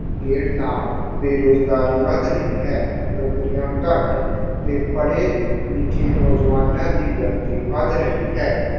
ਨਾਲ ਬੇਰੁਜ਼ਗਾਰੀ ਵਧ ਰਹੀ ਹੈ। ਨੌਕਰੀਆਂ ਘੱਟ ਤੇ ਪੜ੍ਹੇ-ਲਿਖੇ ਨੌਜਵਾਨਾਂ ਦੀ ਗਿਣਤੀ ਵਧ ਰਹੀ ਹੈ।